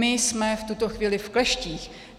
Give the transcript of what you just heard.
My jsme v tuto chvíli v kleštích.